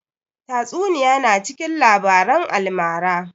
Tatsuniya na cikin labaran almara